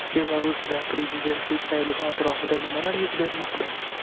Belarusda prezidentlik saylovi atrofida nimalar yuz bermoqda?